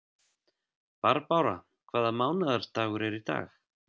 Barbára, hvaða mánaðardagur er í dag?